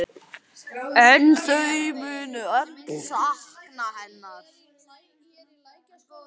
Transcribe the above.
En þau munu öll sakna hennar.